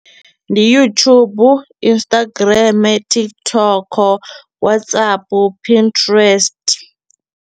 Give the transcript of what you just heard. Ndi YouTube, Instagram, TikTok, Whatsapp, Pinterest.